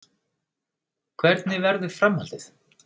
Hvernig verður framhaldið?